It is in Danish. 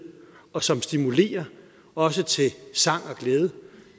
og som stimulerer også til sang og glæde